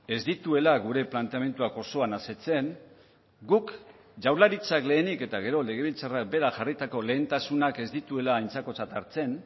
ez dituela gure planteamenduak osoan asetzen guk jaurlaritzak lehenik eta gero legebiltzarrak berak jarritako lehentasunak ez dituela aintzakotzat hartzen